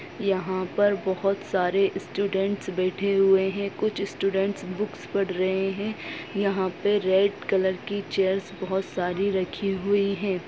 यहाँ पर बहोत सारे स्टूडेंट्स बैठे हुए हैं। कुछ स्टूडेंट्स बुक्स पढ़ रहे हैं। यहाँ पे रेड कलर की चेयर्स बहोत सारी रखी हुई हैं।